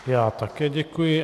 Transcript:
Já také děkuji.